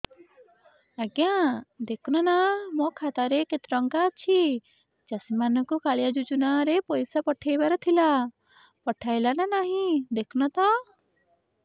ଆଜ୍ଞା ଦେଖୁନ ନା ମୋର ଖାତାରେ କେତେ ଟଙ୍କା ଅଛି ଚାଷୀ ମାନଙ୍କୁ କାଳିଆ ଯୁଜୁନା ରେ ପଇସା ପଠେଇବାର ଥିଲା ପଠେଇଲା ନା ନାଇଁ ଦେଖୁନ ତ